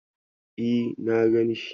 E, na gan shi.